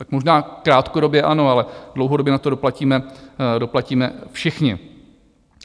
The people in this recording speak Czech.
Tak možná krátkodobě ano, ale dlouhodobě na to doplatíme všichni.